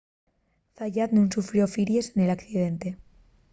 zayat nun sufrió firíes nel accidente